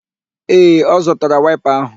Ee, ọ zụtara waịpa áhụ̀